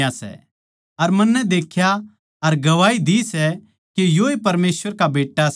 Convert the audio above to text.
अर मन्नै देख्या अर गवाही दी सै के योए परमेसवर का बेट्टा सै